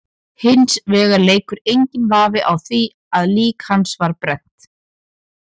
Hins vegar leikur enginn vafi á því að lík hans var brennt.